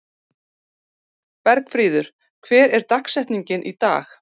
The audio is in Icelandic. Bergfríður, hver er dagsetningin í dag?